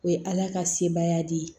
O ye ala ka sebaya di